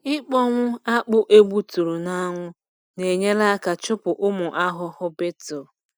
Ịkpọnwụ akpụ egbuturu n’anwụ na-enyere aka chụpụ ụmụ ahụhụ beetle.